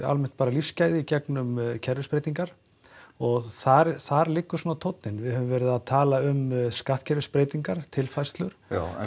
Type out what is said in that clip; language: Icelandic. lífsgæði í gegnum kerfisbreytingar og þar þar liggur svona tóninn við höfum verið að tala um skattkerfisbreytingar tilfærslur